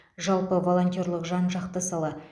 жалпы волонтерлік жан жақты сала